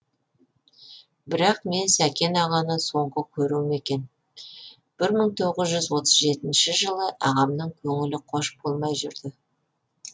бірақ мен сәкен ағаны соңғы көруім екен бір мың тоғыз жүз отыз жетінші жылы ағамның көңілі хош болмай жүрді